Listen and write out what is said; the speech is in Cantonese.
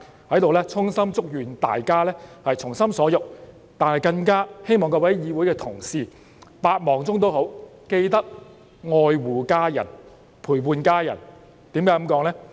在此，我衷心祝願大家從心所欲，但更希望各位同事在百忙中都要愛護家人，陪伴家人，為甚麼這樣說呢？